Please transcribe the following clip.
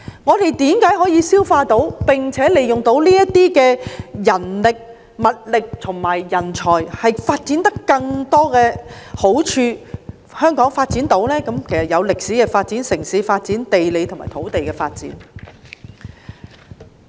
我們為何可以吸納他們，並且善用這些人力、物力和人才，促進香港的發展，包括歷史、城市、地理及土地方面的發展？